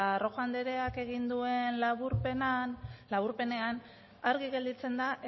rojo andereak egin duen laburpenean argi gelditzen da